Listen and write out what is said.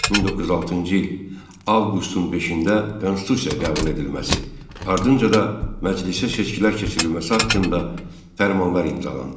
1906-cı il avqustun 5-də Konstitusiya qəbul edilməsi, ardınca da məclisə seçkilər keçirilməsi haqqında fərmanlar imzalandı.